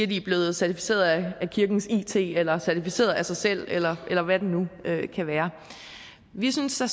de blevet certificeret af kirkens it eller certificeret af sig selv eller eller hvad det nu kan være vi synes at